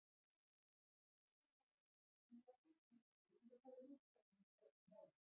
Einnig hafa orðið breytingar á íslenska beygingakerfinu frá því í fornu máli.